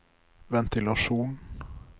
ventilasjon